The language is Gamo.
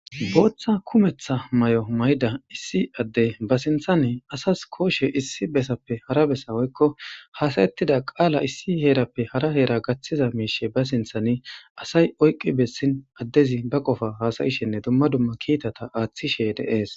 Booththa kumetha mayo mayda issi adde ba sinthannee asas kooshe issi besappe hara bessa woykko haasayettida qaala issi heerappe hara heera gathiza miishe ba sinthani asay oyqqi bessin addezi ba qofa haasayishenne dumma dumma kiitata aathishe dees